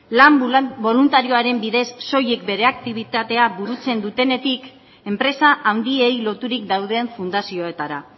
lan boluntarioaren bidez soilik bere aktibitatea burutzen dutenetik enpresa handiei loturik dauden fundazioetara